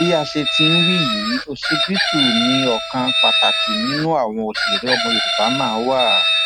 bí a sì ti ń wí yìí ọsibítù ni ọkan pàtàkì nínú àwọn òṣèré ọmọ yorùbá náà wà